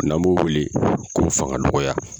N;an b'o weele ko fanga dɔgɔya.